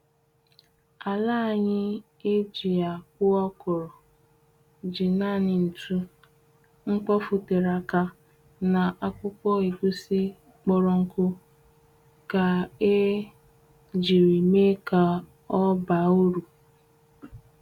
Ala anyị e ji akpụ okro ji naanị ṅtu, mkpofu tere aka, na akpụkpọ egusi kporo ṅku ka e jiri mee ka ọ baa uru